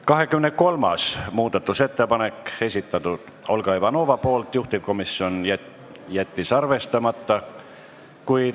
23. muudatusettepaneku on esitanud Olga Ivanova, juhtivkomisjon jättis arvestamata.